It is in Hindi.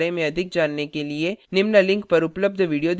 निम्न link पर उपलब्ध video देखें